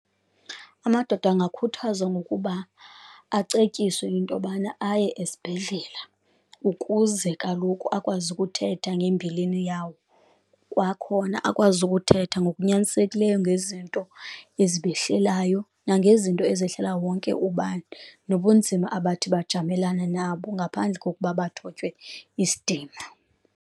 Amadoda angakhuthazwa ngokuba acetyiswe into yobana aye esibhedlela ukuze kaloku akwazi ukuthetha ngembilini yawo, kwakhona akwazi kuthetha ngokunyanisekileyo ngezinto ezibehlelayo nangezinto ezahlela wonke ubani, nobunzima abathi bajamelane nabo ngaphandle kokuba bathotywe isidima.